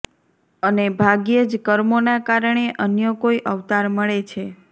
અને ભાગ્યેજ કર્મોના કારણે અન્ય કોઇ અવતાર મળે છે